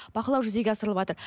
бақылау жүзеге асырылыватыр